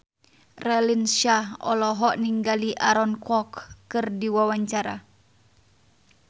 Raline Shah olohok ningali Aaron Kwok keur diwawancara